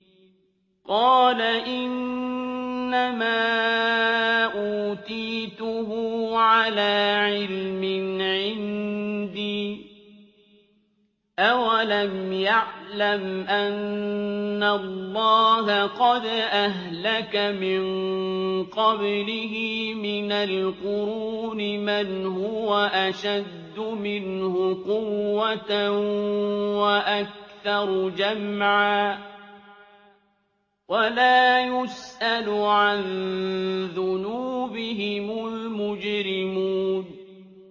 قَالَ إِنَّمَا أُوتِيتُهُ عَلَىٰ عِلْمٍ عِندِي ۚ أَوَلَمْ يَعْلَمْ أَنَّ اللَّهَ قَدْ أَهْلَكَ مِن قَبْلِهِ مِنَ الْقُرُونِ مَنْ هُوَ أَشَدُّ مِنْهُ قُوَّةً وَأَكْثَرُ جَمْعًا ۚ وَلَا يُسْأَلُ عَن ذُنُوبِهِمُ الْمُجْرِمُونَ